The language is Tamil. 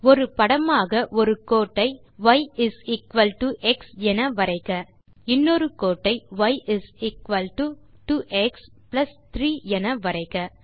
ஒரு படமாக ஒரு கோட்டை y is equal to x என வரைக இன்னொரு கோட்டை ய் இஸ் எக்குவல் டோ 2எக்ஸ் பிளஸ் 3 என வரைக